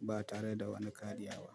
ba tare da wani kariya ba.